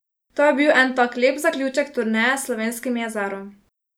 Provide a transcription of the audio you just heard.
To je bil en tak lep zaključek turneje s slovenskim jezerom.